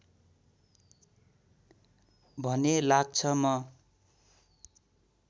भने लाग्छ म